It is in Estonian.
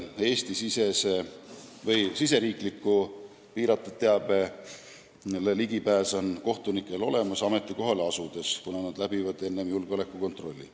Eesti riigisisesele salastatud teabele ligipääs on kohtunikel olemas tulenevalt nende ametikohast, kuna nad läbivad enne tööleasumist julgeolekukontrolli.